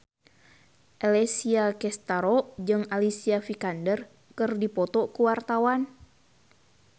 Alessia Cestaro jeung Alicia Vikander keur dipoto ku wartawan